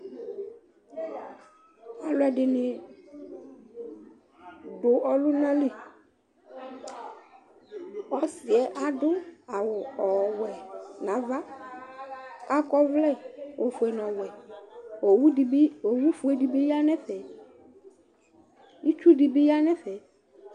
Alʋɛdɩnɩ dʋ ɔlʋna li. Ɔsɩ yɛ adʋ awʋ ɔwɛ nʋ ava, akɔ ɔvlɛ ofue nʋ ɔwɛ. Owu dɩ bɩ, owufue dɩ bɩ ya nʋ ɛfɛ. Itsu dɩ bɩ ya nʋ ɛfɛ.